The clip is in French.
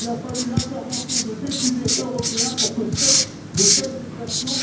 Il a fallu l'intervention de députés européens pour que cessent de telles exactions.